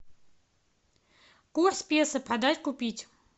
курс песо продать купить